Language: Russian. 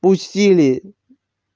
пустили